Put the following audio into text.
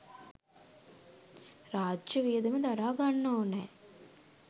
රාජ්‍ය වියදම දරාගන්න ඕනෑ.